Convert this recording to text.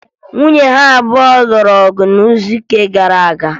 Nwunye ya abụọ lụrụ ọgụ n'izuụka gara aga